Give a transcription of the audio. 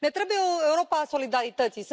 Ne trebuie o Europă a solidarității.